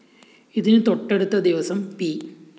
ഇതിന് തൊട്ടടുത്ത ദിവസം പി